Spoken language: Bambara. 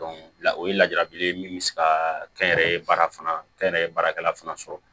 la o ye lajabili ye min be se ka kɛnyɛrɛye baara fana kɛ n yɛrɛ ye baarakɛla fana sɔrɔ